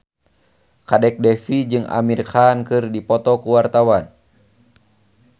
Kadek Devi jeung Amir Khan keur dipoto ku wartawan